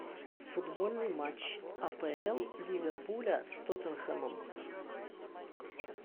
футбольный матч апл ливерпуля с тоттенхэмом